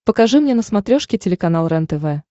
покажи мне на смотрешке телеканал рентв